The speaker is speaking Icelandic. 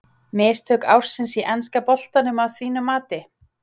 Mistök ársins í enska boltanum að þínu mati?